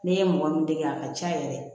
Ne ye mɔgɔ min dege a ka ca yɛrɛ